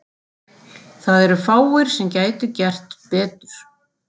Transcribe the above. Það eru fáir sem gætu gert betur.